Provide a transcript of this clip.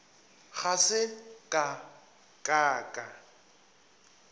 ga se ka ka ka